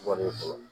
Wari sɔrɔ